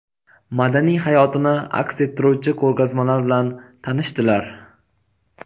madaniy hayotini aks ettiruvchi ko‘rgazmalar bilan tanishdilar.